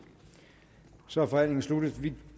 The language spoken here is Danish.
så er forhandlingen sluttet og vi